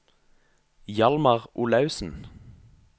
Hjalmar Olaussen